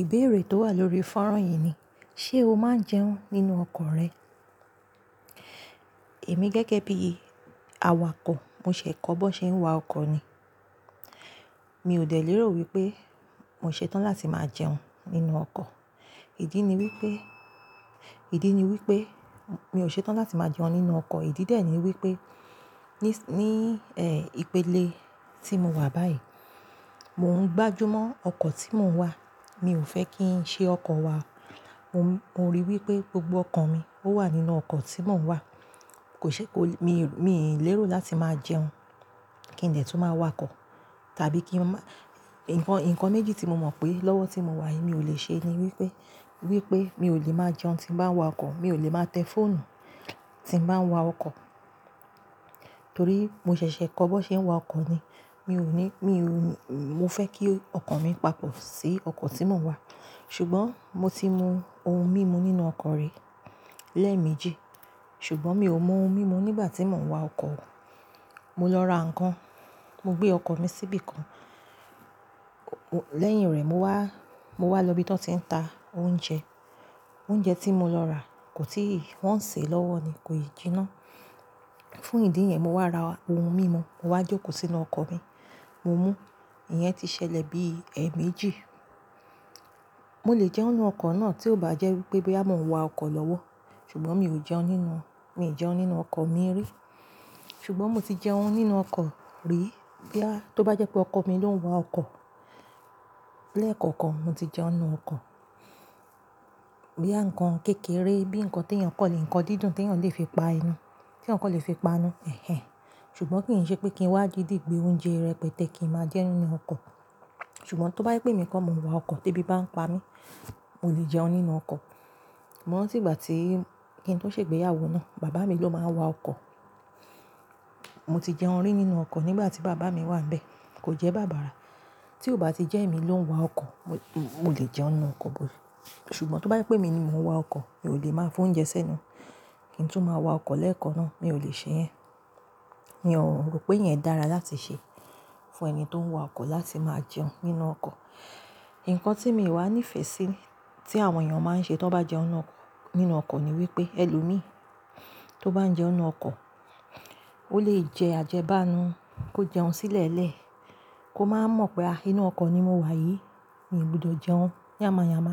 Ìbéèrè tó wà lórí fọ́nrán yìí ni, ṣé o máa ń jẹun nínú ọkọ̀ rẹ? Èmi gẹ́gẹ́ bí awakọ̀, mo ṣẹ̀ kọ́ bó ṣe ń wa ọkọ̀ ni. Mi ò dẹ̀ lérò wípé mo ṣe tán láti máa jẹun nínú ọkọ̀. Ìdí ni wípé, ìdí ni wípé mi ò ṣe tán láti máa jẹun nínú ọkọ̀. Ìdí dè ní wípé, ní, ẹ́, ìpele tí mo wà báyìí, mò ń gbájú mọ́ ọkọ̀ tí mò ń wà. Mi ò fẹ́ kí ń ṣe ọkọ̀ wa. Mo, mo rí i wípé gbogbo ọkọ̀ mi ó wà nínú ọkọ̀ tí mò ń wà. Kò ṣe kó-- mi, mi ń lérò láti máa jẹun kí n dẹ̀ tú máa wakọ̀ tàbí kí m má-- nǹkan, nǹkan méjì tí mo mọ̀ pé lọ́wọ́ tí mo wà yìí mi ò lè ṣe ni wípé, wípé mi ò lè máa jẹun tí ń bá ń wa ọkọ̀, mi ò lè máa tẹ fóònù tí ń bá ń wa ọkọ̀. Torí mo ṣẹ̀ṣẹ̀ kọ́ bó ṣe ń wa ọkọ̀ ni. Mi ò ní, mi ò ní-- mo fẹ́ kí ọkọ̀ mi papọ̀ sí ọkọ̀ tí mò ń wà. Ṣùgbọ́n mo ti mu ohun mímu nínú ọkọ̀ rí lẹ́ẹ̀mejì. Ṣùgbọ́n mi ò mu ohun mímu nígbà tí mò ń wà ọkọ̀. Mo lọ ra ǹkan, mo gbé ọkọ̀ mi síbí kan. Lẹ́yìn rẹ̀ mo wá, mo wá lọ ibi tó ti n ta oúnjẹ. Oúnjẹ tí mo lọ rà kò tí wọ́n ò sè e lọ́wọ́ ni, kò yìí jiná. Fún ìdí yẹn, mo wá ra ohun mímu, mo wá jòkó sínu ọkọ̀ mi, mo mú. Ìyẹn ti ṣẹlẹ̀ bí, ẹ́, méjì. Mo lè jẹun nínú ọkọ̀ náà tí ó bá jẹ́ wípé bí a mò ń wa ọkọ̀ lọ́wọ́. Ṣùgbọ́n mi ò jẹun nínú, mi ò jẹun nínú ọkọ̀ mi rí. Ṣùgbọ́n mo ti jẹun nínú ọkọ̀ rí. Bí a-- tó bá jẹ́ pé ọkọ̀ mi ló ń wa ọkọ̀ lẹ́ẹ̀kọ̀kọ̀n, mo ti jẹun nínú ọkọ̀. Bo ya ǹkán kékeré bí ǹkan tí ènìyàn kò lè, ǹkan dídùn tí ènìyàn kò lè fi pa'nú, tí eyan kan lè fi pa'nú. Ẹ̀hẹ̀n. Ṣùgbọ́n kì í ṣe pé kí ń wá didì gbé oúnjẹ rẹpẹtẹ kí n máa jẹun nínú ọkọ̀. Ṣùgbọ́n tó bá jé pé emi kọ́ mo ń wa ọkọ̀, tí ebí bá ń pa mí, mo lè jẹun nínú ọkọ̀. Mọ́ ranti ígbà tí kí ń tó ṣègbéyàwó náà, bàbá mi ló máa ń wa ọkọ̀. Mo ti jẹun rí nínú ọkọ̀ nígbà tí bàbá mi wà níbẹ̀. Kò jẹ́ bàbà rà. Tí ó bá ti jẹ́ èmi ló ń wa ọkọ̀, mo lè jẹun nínú ọkọ̀ bóyá. Ṣùgbọ́n tó bá yé pé mi ni mò ń wa ọkọ̀, mi ò lè máa fún oúnjẹ sẹ́nu. Kí ń tó máa wa ọkọ̀ lẹ́ẹ̀kọ̀ọ́ náà, mi ò lè ṣe ẹ́. Mi ò rò pé ìyẹn dára láti ṣe fún ẹni tó ń wa ọkọ̀ láti máa jẹun nínú ọkọ̀. Ǹkan tí mi wá ní ìfẹ́ sí tí àwọn èèyàn máa ń ṣe tó bá jẹun nínú ọkọ̀ ni wípé ẹlòmíí tó bá ń jẹun nínú ọkọ̀, ó lè jẹ àjẹbánu kó jẹun sílẹ̀lẹ̀ kó máa mọ̀ pé a, inú ọkọ̀ ni mo wà yìí, mi ò gbọdọ̀ jẹun yáma yáma.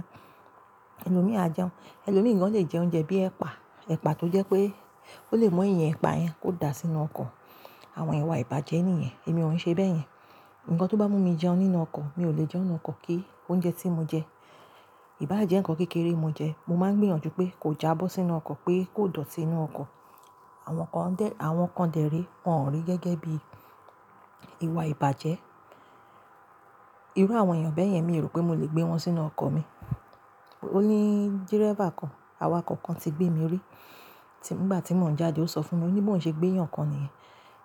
Ẹlòmíì a jẹun. Ẹlòmíì gan ló lè jẹ oúnjẹ bí ẹ̀pà, ẹ̀pà tó jẹ́ pé ó lè mọ ìyẹn ẹ̀pà yẹn kó dà sí inú ọkọ̀. Àwọn ìwà ìbàjẹ́ nìyẹn. Èmi ò ṣe bẹ́ẹ̀ yẹn. Ǹkan tó bá mú mi jẹun nínú ọkọ̀, mi ò lè jẹun nínú ọkọ̀ kí oúnjẹ tí mo jẹ, ìbàjẹ́ ǹkan kékeré mo jẹ, mo máa ń gbìyànjú pé kó já bó sí inú ọkọ̀ pé kó dọ̀tí inú ọkọ̀. Àwọn kan dẹ̀, àwọn kan dẹ̀ rí, wọ́n ń rí gẹ́gẹ́ bí ìwà ìbàjẹ́. Irú àwọn èèyàn bẹ́ẹ̀ yẹn, mi ò rò pé mo lè gbé wọn sínú ọkọ̀ mi. Ó ní dírẹ́bà kan awakọ̀ kan ti gbé mi rí. Nígbà tí mò ń jáde ó sọ fún mi, ó ní bó ṣe gbé ènìyàn kan nìyẹn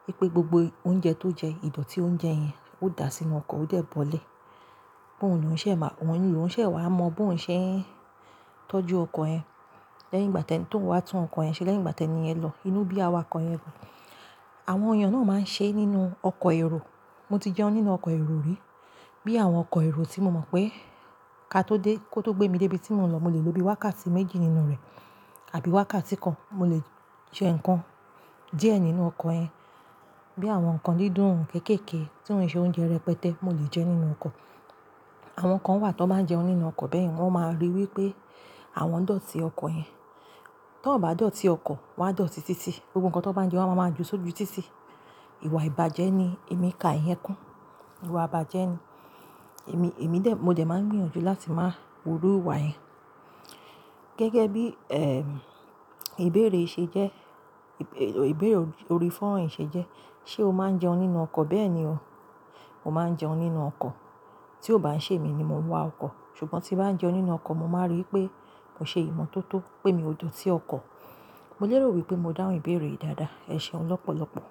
wípé gbogbo oúnjẹ tó jẹ, ìdọ̀tí oúnjẹ yẹn ó dà sí inú ọkọ̀, ó dẹ̀ bọ́lẹ̀. Òun ṣẹ̀ máa, òun ni òun ṣẹ̀ wá mọ bó ń ṣẹ́ ń tọ́jú ọkọ̀ ẹ. Lẹ́yìn ìgbà tẹ́ ń tó ń wá tún ọkọ̀ yẹn ṣe, lẹ́yìn ìgbà tẹ́ni yẹn lọ inú bí awakọ̀ yẹn rọ. Àwọn èèyàn náà máa ń ṣe nínú ọkọ̀ èrò. Mo ti jẹun nínú ọkọ̀ èrò rí. Bí àwọn ọkọ̀ èrò tí mo mọ̀ pé ká tó dé kó tó gbé mi dé ibi tí mò ń lọ, mo lè lò bí wákàtí méjì nínú rẹ̀ àbí wákàtí kan. Mo lè jẹ ǹkan díẹ̀ nínú ọkọ̀ yẹn. Bí àwọn ǹkan dídùn kéékèèké tí ó ń ṣe oúnjẹ erẹpẹtẹ, mo lè jẹ nínú ọkọ̀. Àwọn kan wà tó máa ń jẹun nínú ọkọ̀ bẹ́ẹ̀ yẹn, wọ́n máa rí i wípé àwọn dọ̀tí ọkọ̀ yẹn. Tán bá dọ̀tí ọkọ̀, wá dọ̀tí títí. Ohun kan tó bá ń jẹun a máa mọ̀ ju sójú títí. Ìwà ìbàjẹ́ ni. Èmi kà ìyẹn kún. Ìwà ìbàjẹ́ ni. Èmi, èmi dẹ̀, mo jẹ̀ máa ń gbìyànjú láti máa wu irú ìwà yẹn. Gẹ́gẹ́ bí, ẹ́, ìbéèrè ṣe jẹ́, ìbéèrè orí fọ́nrán yìí ṣe jẹ́, ṣé o máa ń jẹun nínú ọkọ̀? Bẹ́ẹ̀ ni o. Mo máa ń jẹun nínú ọkọ̀. Tí ó bá ń ṣe èmi ni mò ń wa ọkọ̀. Ṣùgbọ́n tí bá ń jẹun nínú ọkọ̀, mo máa rí i wípé mo ṣe ìmọ̀ tó tó pé mi ò dọ̀tí ọkọ̀. Mo lérò wípé mo dáhùn ìbéèrè yìí dáadáa. Ẹ ṣe ọ lọ́pọ̀lọ́pọ̀.